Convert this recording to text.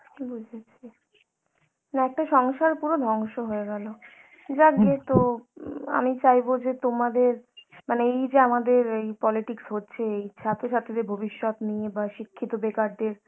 বুঝেছি, মানে একটা সংসার পুরো ধ্বংস হয়ে গেলো, যাক গে তো উম আমি চাইবো যে তোমাদের মানে এই যে আমাদের এই politics হচ্ছে এই ছাত্রছাত্রীদের ভবিষ্যৎ নিয়ে বা শিক্ষিত বেকারদের